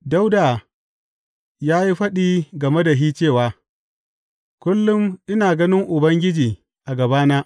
Dawuda ya yi faɗi game da shi cewa, Kullum ina ganin Ubangiji a gabana.